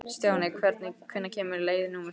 Stjáni, hvenær kemur leið númer þrjátíu?